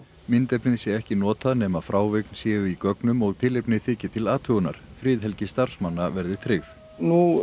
myndefnið sé ekki notað nema frávik séu í gögnum og tilefni þyki til athugunar friðhelgi starfsmanna verði tryggð nú